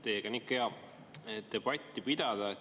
Teiega on ikka hea debatti pidada.